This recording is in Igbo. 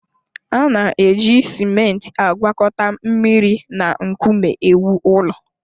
A na-eji simenti agwakọta mmiri na nkume ewu ụlọ